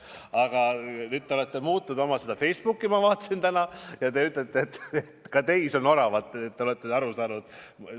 Aga nüüd te olete muutnud oma Facebooki – ma vaatasin seda täna – ja te ütlete, et ka teis on oravat, et te olete sellest aru saanud.